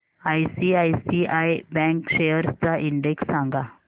ICICI bank shares चा index सांगा